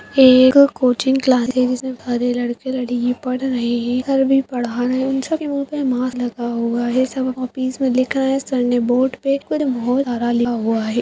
ये एक coaching class हैं जिसमें सारे लड़के-लड़की पढ़ रहें हैं सर भी पढ़ा रहें हैं उन सब के मुँह पे मास्क लगा हुआ है सब कॉपीस में लिख रहें हैं सर ने बोर्ड पे कुछ बहुत सारा लिखा हुआ है।